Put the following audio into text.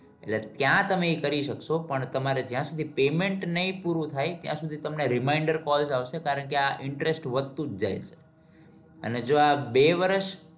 એટલે ત્યાં તમે ઇ કરી શકશો પણ તમારે જ્યાં સુધી payment નહી પૂરું થાય ત્યાં સુધી તમને reminder calls આવશે કારણ કે આ interest વધતુ જ જાય છે અને જોઆ બે વરસ